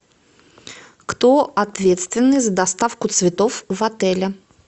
кто ответственный за доставку цветов в отеле